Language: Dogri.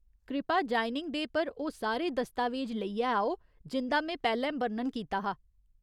कृपा ज्वाइनिंग डे पर ओह् सारे दस्तावेज लेइयै आओ जिं'दा में पैह्‌लें बर्णन कीता हा।